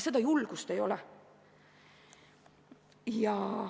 Seda julgust ei ole.